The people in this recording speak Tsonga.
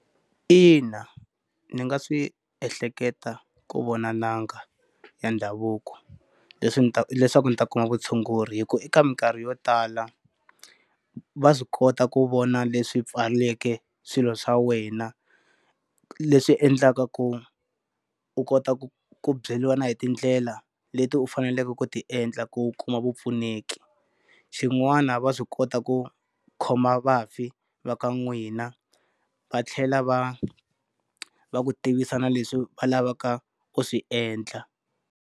Ina, ni nga swi ehleketa ku vona n'anga ya ndhavuko, leswi leswaku ni ta kuma vutshunguri hikuva eka minkarhi yo tala, va swi kota ku vona leswi pfaleke swilo swa wena, leswi endlaka ku u kota ku ku byeriwa na hi tindlela leti u faneleke ku ti endla ku u kuma vupfuneki. Xin'wana va swi kota ku khoma vafi va ka n'wina, va tlhela va va ku tivisa na leswi va lavaka u swi endla.